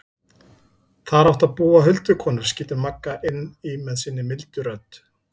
Þar áttu að búa huldukonur, skýtur Magga inn í með sinni mildu rödd.